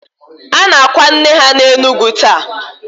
A na-akwa nne ha n'Enugu taa.